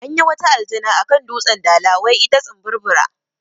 Anyi wata aljana akan dutsen dala wai ita tsimburbura